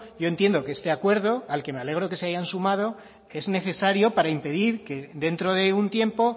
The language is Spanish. yo entiendo que este acuerdo al que me alegro que se hayan sumado es necesario para impedir que dentro de un tiempo